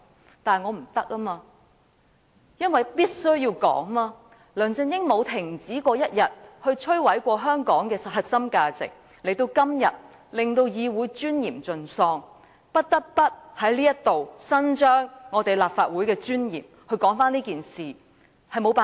然而，我不得不支持這項議案，因為梁振英沒有一天停止摧毀香港的核心價值，亦令議會尊嚴盡喪，我不得不在此為了立法會的尊嚴，支持這議案，真是沒有辦法。